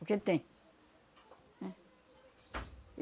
Porque tem. É.